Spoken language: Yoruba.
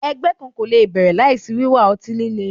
Ẹgbẹ kan ko le bẹrẹ laisi wiwa ọti-lile